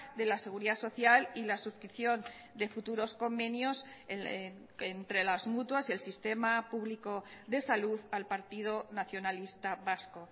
de la seguridad social y la suscripción de futuros convenios entre las mutuas y el sistema público de salud al partido nacionalista vasco